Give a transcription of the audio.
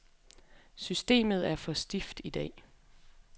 Systemet er for stift i dag.